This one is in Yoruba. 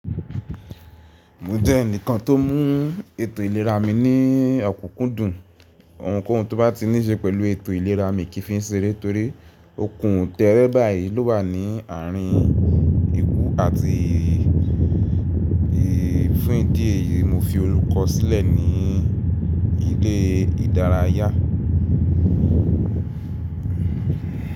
Mo jẹ́ ẹnìkan tó mú ètò ìlera mi ní ọ̀kúkúndùn. Ohunkóhun tó bá ti níṣe pẹ̀lú ètò ìlera mi kí fi ń ṣe é torí okun tẹ́ẹ́rẹ́ báyìí ló wà ní àárín ikú àti ìrì. Fún ìdí èyí, mo fi orùkọ́ sílẹ̀ ní ilé ìdárayá.